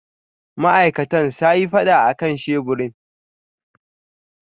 Ma'aikatan sayi fada akan sheburin.